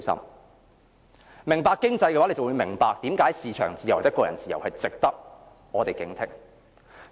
如果你懂經濟，你便會明白為甚麼市場自由、個人自由是值得我們警惕。